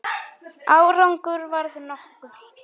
Árangur varð nokkur.